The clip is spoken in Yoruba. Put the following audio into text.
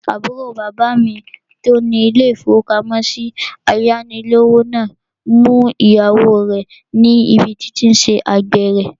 Àbúrò bàbá mi tó ní ilé-ìfowópamọ́sí ayánilówó náà mú ìyàwó rẹ̀ níbi tí ó tí n ṣe àgbèrè